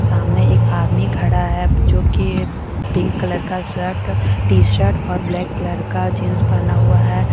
सामने एक आदमी खड़ा है जो कि पिंक कलर का शर्ट टी शर्ट और ब्लैक कलर का जींस पहना हुआ है।